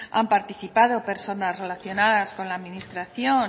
han participado personas relacionadas con la administración